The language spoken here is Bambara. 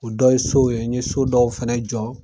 O dɔ ye sow ye, n ye so dɔw fɛnɛ jɔ